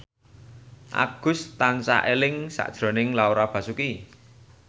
Agus tansah eling sakjroning Laura Basuki